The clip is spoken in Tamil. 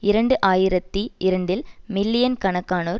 இரண்டு ஆயிரத்தி இரண்டில் மில்லியன் கணக்கானோர்